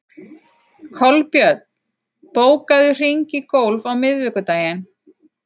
Kolbjörn, bókaðu hring í golf á miðvikudaginn.